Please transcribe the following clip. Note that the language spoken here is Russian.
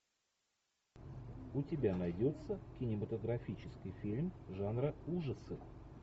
у тебя найдется кинематографический фильм жанра ужасы